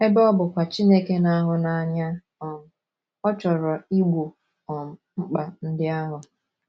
Ebe ọ bụkwa Chineke na - ahụ n’anya, um ọ chọrọ Igbo um mkpa ndị ahụ.